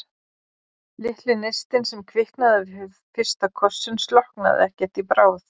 Litli neistinn, sem kviknaði við fyrsta kossinn, slokknaði ekkert í bráð.